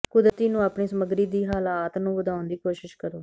ਕੁਦਰਤੀ ਨੂੰ ਆਪਣੀ ਸਮੱਗਰੀ ਦੀ ਹਾਲਾਤ ਨੂੰ ਵਧਾਉਣ ਦੀ ਕੋਸ਼ਿਸ਼ ਕਰੋ